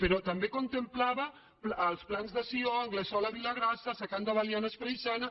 però també contemplava els plans de sió anglesola vilagrassa secans de belianes preixana